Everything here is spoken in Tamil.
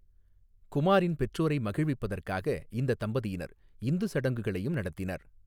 குமாரின் பெற்றோரை மகிழ்விப்பதற்காக இந்த தம்பதியினர் இந்து சடங்குகளையும் நடத்தினர்.